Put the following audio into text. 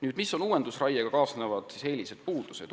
Nüüd, mis on uuendusraiega kaasnevad eelised ja puudused?